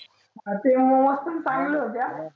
ते मोमोज पण चांगले होते हं.